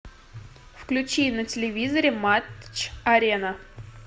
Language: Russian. включи на телевизоре матч арена